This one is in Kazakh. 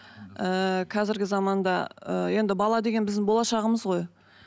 ыыы қазіргі заманда ыыы енді бала деген біздің болашағымыз ғой